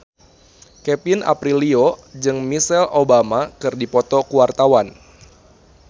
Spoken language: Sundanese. Kevin Aprilio jeung Michelle Obama keur dipoto ku wartawan